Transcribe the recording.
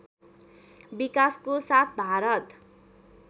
विकासको साथ भारत